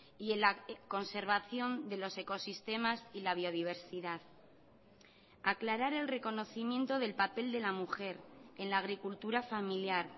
y en la conservación de los ecosistemas y la biodiversidad aclarar el reconocimiento del papel de la mujer en la agricultura familiar